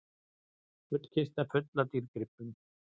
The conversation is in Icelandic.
Gullkista full af dýrgripum